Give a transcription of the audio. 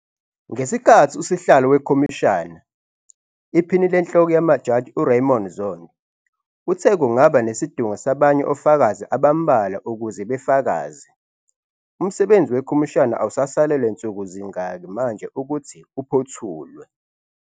Ngesikhathi usihlalo wekhomishana, Iphini LeNhloko yamaJaji u-Raymond Zondo uthe kungaba nesidingo sabanye ofakazi abambalwa ukuze befakaze, umsebenzi wekhomishana awusasalelwe nsukuzingaki manje ukuthi uphothulwe.